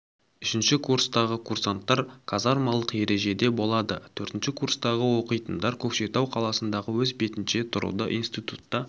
үшінші курстағы курсанттар казармалық ережеде болады төртінші курстағы оқитындар көкшетау қаласында өз бетінше тұруда институтта